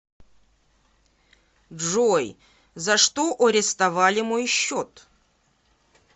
джой за что ореставали мой счет